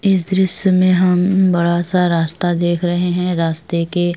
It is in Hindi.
इस दृश्य में हम बड़ा सा रास्ता देख रहा है रास्ते के --